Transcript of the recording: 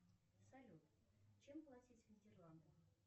салют чем платить в нидерландах